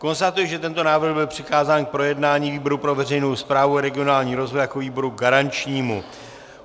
Konstatuji, že tento návrh byl přikázán k projednání výboru pro veřejnou správu a regionální rozvoj jako výboru garančnímu.